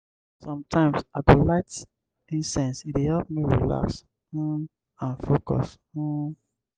sometimes i go light incense; e dey help me relax um and focus. um